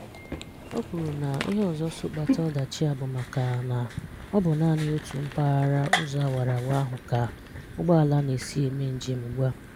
O kwuru na ihe ọzọ so kpata ọdachi a bụ maka na ọ bụ naanị otu mpaghara ụzọ awara awara ahụ ka ụgbọala na-esi eme njem ugbua.